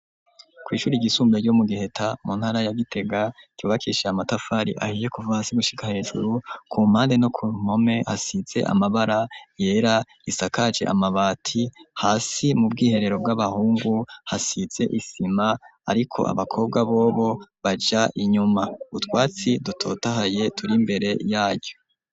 Kw'ishuri igisumbe ryo mu giheta mu ntara ya gitega kyubakishaye amatafari ahiye kuva hasi gushika hejuru ku mpande no ku mkome hasize amabara yera risakaje amabati hasi mu bwiherero bw'abahungu hasize isima, ariko abakobwa bobo baja inyuma utwatsi dte dahaye turi imbere yaco.